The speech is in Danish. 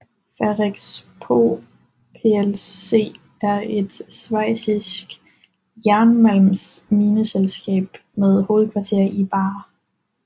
Ferrexpo plc er et schweizisk jernmalmsmineselskab med hovedkvarter i Baar